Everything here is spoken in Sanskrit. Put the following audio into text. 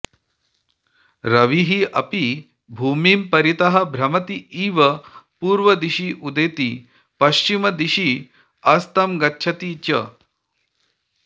रविः अपि भूमिं परितः भ्रमति इव पूर्वदिशि उदेति पश्चिमदिशि अस्तङ्गच्छति च